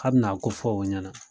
K' abin'akofɔ o ɲɛnɛ